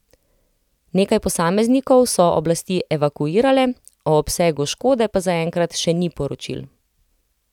Nekaj posameznikov so oblasti evakuirale, o obsegu škode pa zaenkrat še ni poročil.